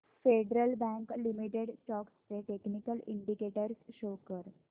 federal bank limited stocks चे technical indicators show कर